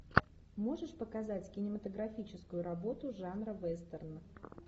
можешь показать кинематографическую работу жанра вестерн